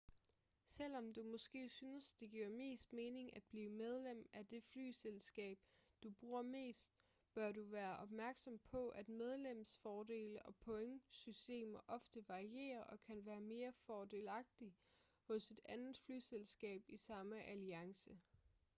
selvom du måske synes det giver mest mening at blive medlem af det flyselskab du bruger mest bør du være opmærksom på at medlemsfordele og pointsystemer ofte varierer og kan være mere fordelagtige hos et andet flyselskab i samme alliance